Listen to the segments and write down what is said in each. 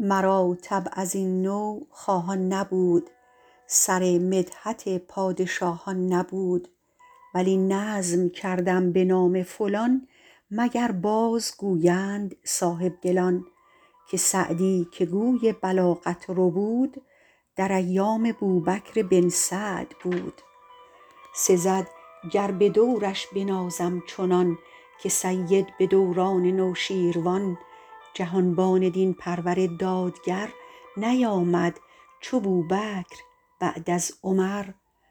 مرا طبع از این نوع خواهان نبود سر مدحت پادشاهان نبود ولی نظم کردم به نام فلان مگر باز گویند صاحبدلان که سعدی که گوی بلاغت ربود در ایام بوبکر بن سعد بود سزد گر به دورش بنازم چنان که سید به دوران نوشیروان جهانبان دین پرور دادگر نیامد چو بوبکر بعد از عمر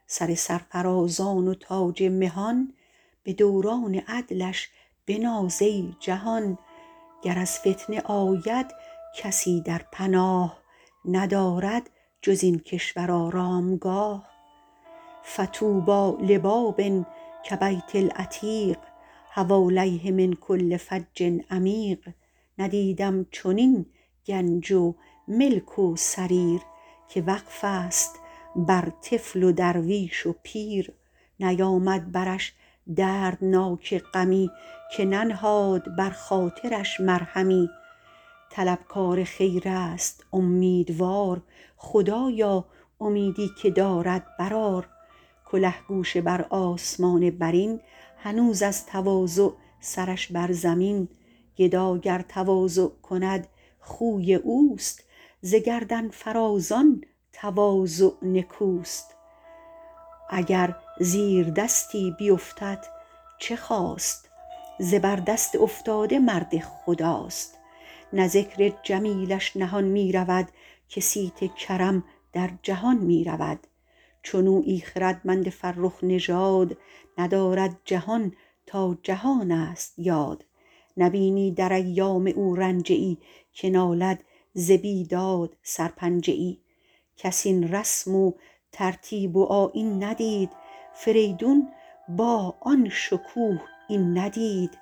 سر سرفرازان و تاج مهان به دوران عدلش بناز ای جهان گر از فتنه آید کسی در پناه ندارد جز این کشور آرامگاه فطوبی لباب کبیت العتیق حوالیه من کل فج عمیق ندیدم چنین گنج و ملک و سریر که وقف است بر طفل و درویش و پیر نیامد برش دردناک غمی که ننهاد بر خاطرش مرهمی طلبکار خیر است امیدوار خدایا امیدی که دارد برآر کله گوشه بر آسمان برین هنوز از تواضع سرش بر زمین گدا گر تواضع کند خوی اوست ز گردن فرازان تواضع نکوست اگر زیردستی بیفتد چه خاست زبردست افتاده مرد خداست نه ذکر جمیلش نهان می رود که صیت کرم در جهان می رود چنویی خردمند فرخ نژاد ندارد جهان تا جهان است یاد نبینی در ایام او رنجه ای که نالد ز بیداد سرپنجه ای کس این رسم و ترتیب و آیین ندید فریدون با آن شکوه این ندید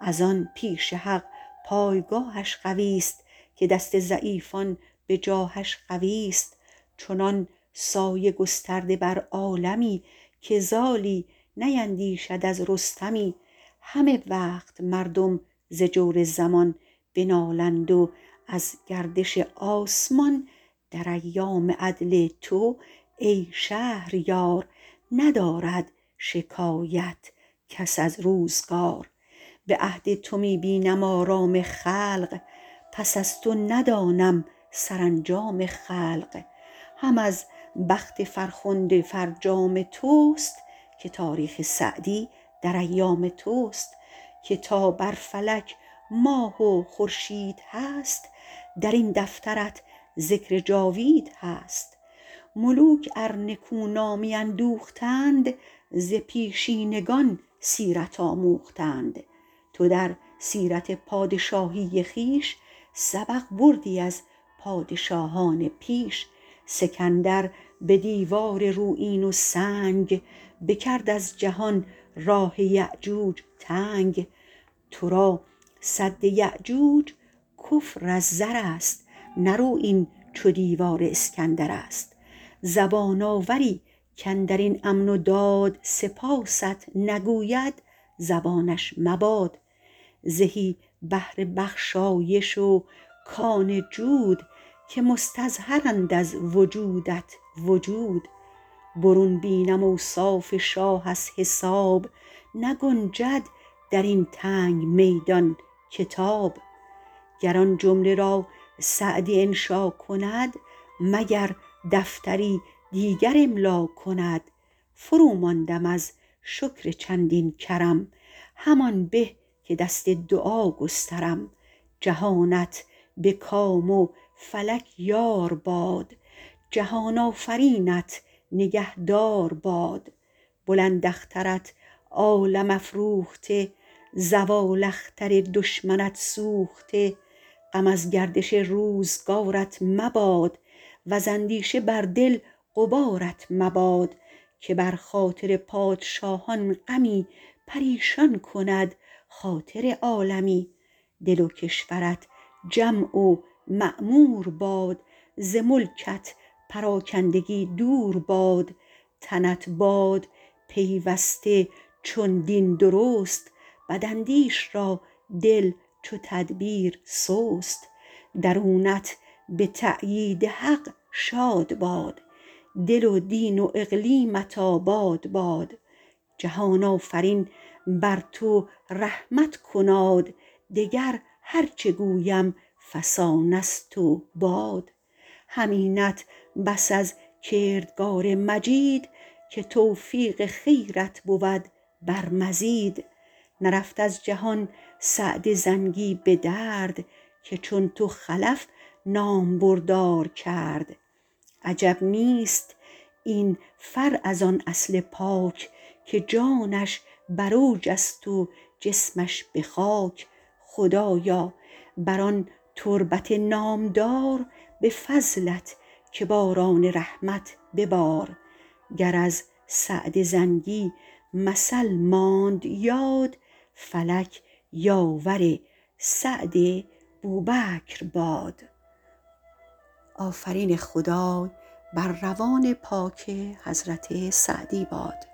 از آن پیش حق پایگاهش قوی است که دست ضعیفان به جاهش قوی است چنان سایه گسترده بر عالمی که زالی نیندیشد از رستمی همه وقت مردم ز جور زمان بنالند و از گردش آسمان در ایام عدل تو ای شهریار ندارد شکایت کس از روزگار به عهد تو می بینم آرام خلق پس از تو ندانم سرانجام خلق هم از بخت فرخنده فرجام توست که تاریخ سعدی در ایام توست که تا بر فلک ماه و خورشید هست در این دفترت ذکر جاوید هست ملوک ار نکو نامی اندوختند ز پیشینگان سیرت آموختند تو در سیرت پادشاهی خویش سبق بردی از پادشاهان پیش سکندر به دیوار رویین و سنگ بکرد از جهان راه یأجوج تنگ تو را سد یأجوج کفر از زر است نه رویین چو دیوار اسکندر است زبان آوری کاندر این امن و داد سپاست نگوید زبانش مباد زهی بحر بخشایش و کان جود که مستظهرند از وجودت وجود برون بینم اوصاف شاه از حساب نگنجد در این تنگ میدان کتاب گر آن جمله را سعدی انشا کند مگر دفتری دیگر املا کند فروماندم از شکر چندین کرم همان به که دست دعا گسترم جهانت به کام و فلک یار باد جهان آفرینت نگهدار باد بلند اخترت عالم افروخته زوال اختر دشمنت سوخته غم از گردش روزگارت مباد وز اندیشه بر دل غبارت مباد که بر خاطر پادشاهان غمی پریشان کند خاطر عالمی دل و کشورت جمع و معمور باد ز ملکت پراکندگی دور باد تنت باد پیوسته چون دین درست بداندیش را دل چو تدبیر سست درونت به تأیید حق شاد باد دل و دین و اقلیمت آباد باد جهان آفرین بر تو رحمت کناد دگر هرچه گویم فسانه ست و باد همینت بس از کردگار مجید که توفیق خیرت بود بر مزید نرفت از جهان سعد زنگی به درد که چون تو خلف نامبردار کرد عجب نیست این فرع از آن اصل پاک که جانش بر اوج است و جسمش به خاک خدایا بر آن تربت نامدار به فضلت که باران رحمت ببار گر از سعد زنگی مثل ماند یاد فلک یاور سعد بوبکر باد